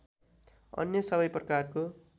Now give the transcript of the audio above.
अन्य सबै प्रकारको